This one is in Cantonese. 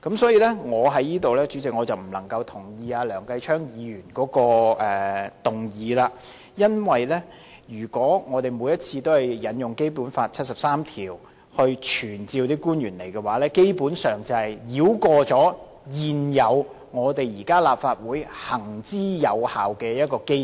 主席，我因此不贊同梁繼昌議員的議案，因為如果我們每次都根據《基本法》第七十三條傳召官員出席立法會會議，基本上是繞過立法會現時行之有效的機制。